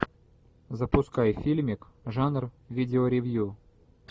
запускай фильмик жанр видеоревью